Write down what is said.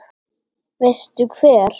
Veistu hver